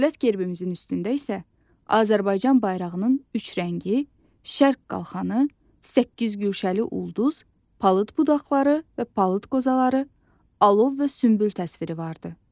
Dövlət gerbimizin üstündə isə Azərbaycan bayrağının üç rəngi, şərq qalxanı, səkkiz güşəli ulduz, palıd budaqları və palıd qozaları, alov və sümbül təsviri vardır.